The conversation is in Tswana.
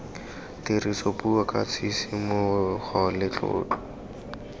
tirisopuo ka tshisimogo le tlotlo